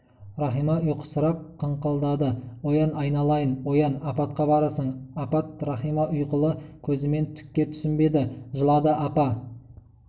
рахима ұйқысырап қыңқылдады оян айналайын оян апатқа барасың апат рахима ұйқылы көзімен түкке түсінбеді жылады апа